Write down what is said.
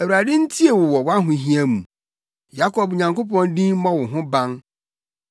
Awurade ntie wo wɔ wʼahohia mu; Yakob Nyankopɔn din mmɔ wo ho ban.